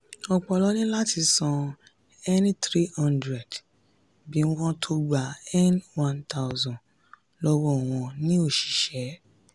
ọ̀pọ̀ló ní láti san n three hundred bí wọ́n tó gba n one thousand 1000 wọn ní òṣìṣẹ́.